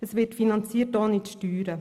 Es wird finanziert, ohne zu steuern.